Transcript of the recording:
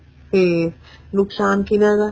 ਫ਼ੇਰ ਨੁਕਸ਼ਾਨ ਕਿਹਨਾ ਦਾ